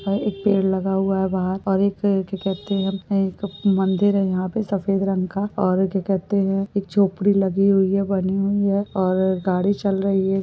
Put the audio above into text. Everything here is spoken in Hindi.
यहाँ एक पेड़ लगा हुआ है बाहर और और क्या कहते है एक मंदिर है यहाँ पे सफ़ेद रंग का और क्या कहते है एक झोपडी लगी हुयी है बनी हुयी है और गाड़ी चल रही है।